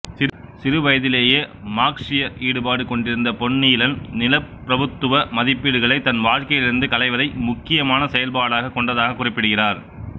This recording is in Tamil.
சிறுவயதிலேயே மார்க்சிய ஈடுபாடு கொண்டிருந்த பொன்னீலன் நிலப்பிரபுத்துவ மதிப்பீடுகளைத் தன் வாழ்க்கையிலிருந்து களைவதை முக்கியமான செயல்பாடாகக் கொண்டதாகக் குறிப்பிடுகிறார்